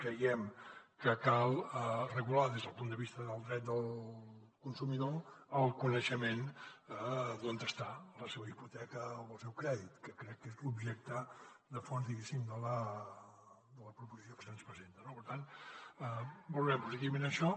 creiem que cal regular des del punt de vista del dret del consumidor el coneixement d’on està la seva hipoteca o el seu crèdit que crec que és l’objecte de fons diguéssim de la proposició que se’ns presenta no per tant valorem positivament això